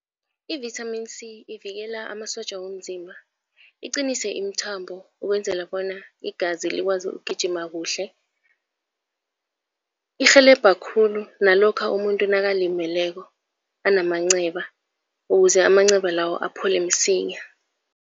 Ivithamini C ivikela amasotja womzimba, iqinise imithambo ukwenzela bona igazi likwazi ukugijima kuhle. Irhelebha khulu nalokha umuntu nakalimeleko anamanceba, ukuze amanceba lawo aphole msinya.